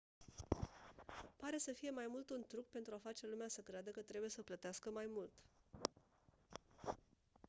pare să fie mai mult un truc pentru a face lumea să creadă că trebuie să plătească mai mult